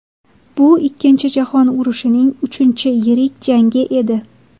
Bu Ikkinchi jahon urushining uchinchi yirik jangi edi.